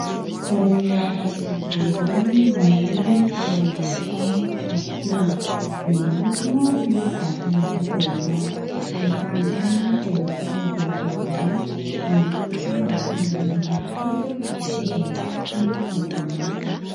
Reniala lehibe iray maniry eo ambonin'ny tany fasiana. Mihodina ny vatan'ilay reniala. Eto anoloana dia ahitana vehivavy iray mandroso mankany amin'ilay hazo izay misikina lambahoany.